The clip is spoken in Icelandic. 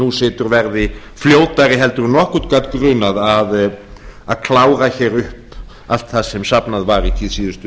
nú situr verði fljótari en nokkurn gat grunað að klára hér upp allt það sem safnað var í síðustu